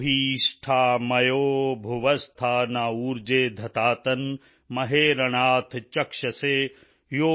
ਆਪੋ ਹਿਸ਼ਠਾ ਮਯੋ ਭੁਵ ਸਥਾ ਨ ਊਰਜੇ ਦਧਾਤਨ ਮਹੇ ਰਣਾਯ ਚਕਸ਼ਸੇ